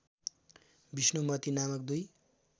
विष्णुमती नामक दुई